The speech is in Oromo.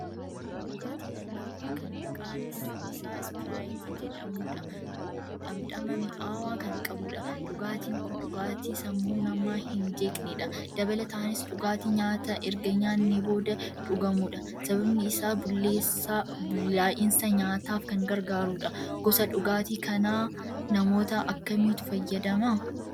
Dhugaatii lallaafaa kan maqaan isaa'sprite' jedhamudha. Dhamdhama mi'aawaa kan qabudha. Dhugaatiin kun dhugaatii sammuu namaa hin jeeqnedha. Dabalataanis dhugaatii nyaata erga nyaannee booda dhugamudha. Sababni isaas bullaa'insa nyaataaf kan gargaarudha. Gosa dhugaatii kanaa namoota akkamiitu fayyadaman?